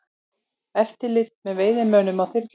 Eftirlit með veiðimönnum á þyrlu